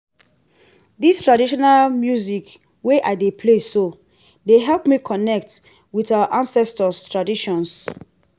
this traditional music wey i dey play so dey help me connect with our ancestors traditions